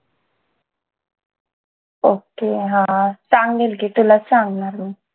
ok हा सांगेल की तुला सांगणार